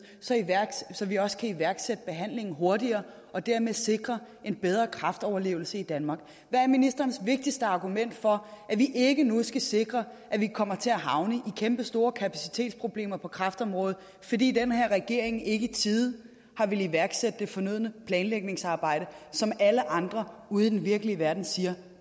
så vi også kan iværksætte behandlingen hurtigere og dermed sikre en bedre kræftoverlevelse i danmark hvad er ministerens vigtigste argument for at vi ikke nu skal sikre at vi ikke kommer til at havne i kæmpestore kapacitetsproblemer på kræftområdet fordi den her regering ikke i tide har villet iværksætte det fornødne planlægningsarbejde som alle andre ude i den virkelige verden siger